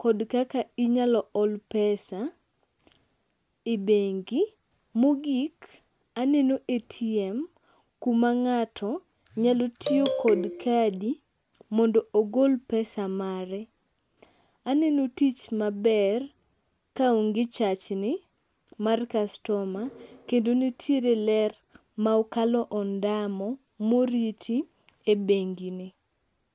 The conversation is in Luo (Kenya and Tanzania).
kod kaka inyalo ol pesa i bengi. Mogik aneno ATM kuma ng'ato nyalo tiyo kod kadi mondo ogol pesa mare, aneno tich maber kaonge chachni mar kastoma kendo nitiere ler ma okalo ondamo moriti e bengini.